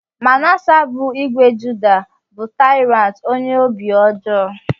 Manasseh bụ ìgwè Judah, bụ tyrant ónyé óbị ọjọọ.